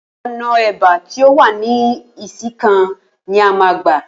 Ò̩nà è̩bá tí ó wà ní Ìsìnkàn ni a máa gbà